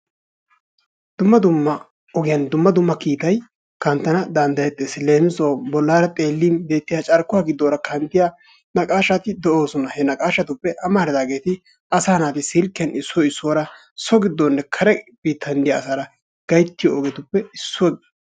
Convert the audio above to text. Dumma dumma ogiyaan dumma dumma kiitay kanttana danddayettees. Leemisuwaawu boolaara xeelin beettiyaa carkkuwaa gidoora kanttanwu da naqashshati de"oosona. He naqashshatuppe amaridaageti asaa naati silkkiyaan issoy issuwaara so biittaninne kare biittan diyaa asaara gayttiyoo ogetuppe issuwaa.